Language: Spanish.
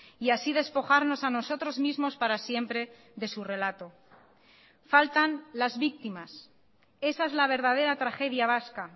y así despojarnos a nosotros mismos para siempre de su relato faltan las víctimas esa es la verdadera tragedia vasca